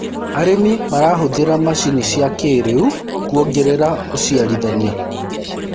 arĩmi marahuthira macinĩ cia kĩiriu kuongerera uciarithanĩa